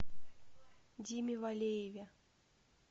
диме валееве